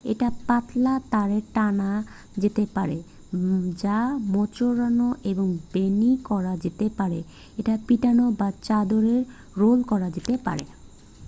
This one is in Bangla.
এটা পাতলা তারে টানা যেতে পারে যা মোচড়ানো এবং বেণী করা যেতে পারে এটা পিটানো বা চাদরে রোল করা যেতে পারে